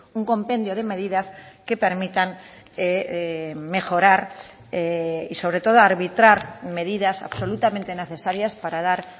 un compendio de medidas que permitan mejorar y sobre todo arbitrar medidas absolutamente necesarias para dar